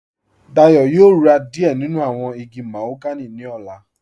Dayọ̀ yóò rá díẹ̀ nínu awọn igi màhóganì ní ọ̀là.